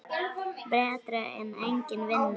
Betra en engin vinna.